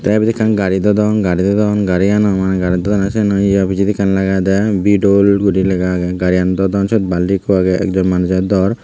tey ibet ekkan gari dodon gari dodon gariyano mai garit daw eney siyeno pijedi ekkan lagedey bidol guri lega agey gariyan dodon siyot balti ikko agey ekjoney manuj aat dor.